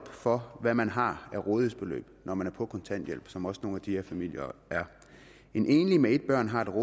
for hvad man har af rådighedsbeløb når man er på kontanthjælp sådan som også nogle af de her familier er en enlig med et barn har et